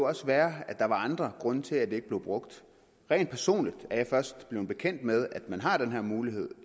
også være at der var andre grunde til at det ikke bliver brugt rent personligt er jeg først blevet bekendt med at man har den her mulighed